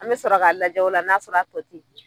An be sɔrɔ ka lajɛ o la n'a sɔrɔ a tɔ te yen.